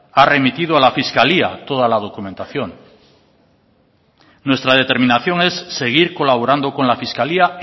ha remitido a la fiscalía toda la documentación nuestra determinación es seguir colaborando con la fiscalía